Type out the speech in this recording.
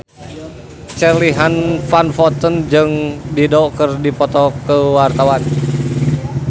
Charly Van Houten jeung Dido keur dipoto ku wartawan